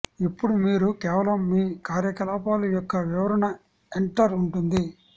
ఇప్పుడు మీరు కేవలం మీ కార్యకలాపాలు యొక్క వివరణ ఎంటర్ ఉంటుంది